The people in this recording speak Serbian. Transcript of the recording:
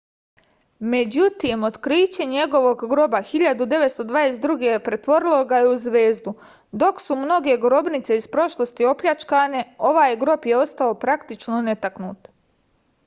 međutim otkriće njegovog groba 1922. pretvorilo ga je u zvezdu dok su mnoge grobnice iz prošlosti opljačkane ovaj grob je ostao praktično netaknut